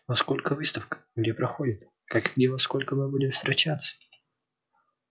во сколько выставка где проходит как где и во сколько мы будем встречаться